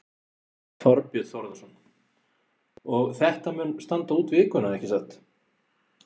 Þorbjörn Þórðarson: Og þetta mun standa út vikuna, ekki satt?